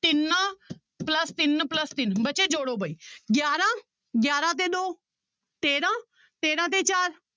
ਤਿੰਨ plus ਤਿੰਨ plus ਤਿੰਨ ਬੱਚੇ ਜੋੜੇ ਬਾਈ ਗਿਆਰਾਂ, ਗਿਆਰਾਂ ਤੇ ਦੋ ਤੇਰਾਂ, ਤੇਰਾਂ ਤੇ ਚਾਰ